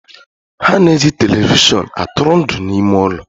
Ha na eji televishion atụrụ ndụ n'ime ụlọ